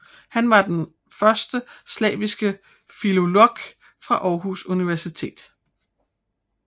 Han var den første slaviske filolog fra Aarhus Universitet